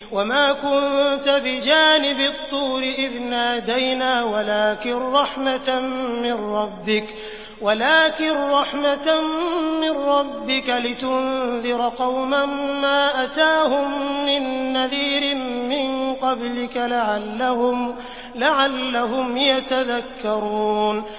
وَمَا كُنتَ بِجَانِبِ الطُّورِ إِذْ نَادَيْنَا وَلَٰكِن رَّحْمَةً مِّن رَّبِّكَ لِتُنذِرَ قَوْمًا مَّا أَتَاهُم مِّن نَّذِيرٍ مِّن قَبْلِكَ لَعَلَّهُمْ يَتَذَكَّرُونَ